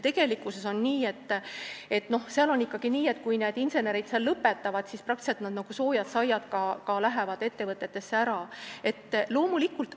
Tegelikkuses on nii, et kui insenerid selle lõpetavad, siis nad lähevad nagu soojad saiad, nad lähevad ettevõtetesse, loomulikult.